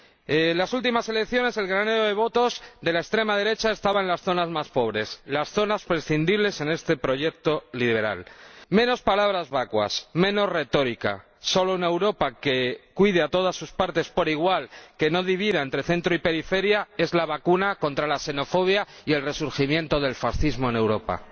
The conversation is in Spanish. En las últimas elecciones, el granero de votos de la extrema derecha estaba en las zonas más pobres, las zonas prescindibles en este proyecto liberal. Menos palabras vacuas, menos retórica, solo una Europa que cuide a todas sus partes por igual, que no divida entre centro y periferia es la vacuna contra la xenofobia y el resurgimiento del fascismo en Europa.